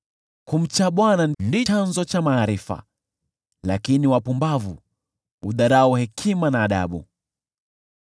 Kumcha Bwana ndicho chanzo cha maarifa, lakini wapumbavu hudharau hekima na adabu.